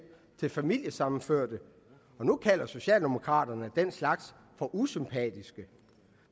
til familiesammenførte og nu kalder socialdemokraterne den slags for usympatisk